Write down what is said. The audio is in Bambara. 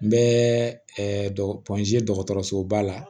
N bɛ dɔgɔtɔrɔsoba la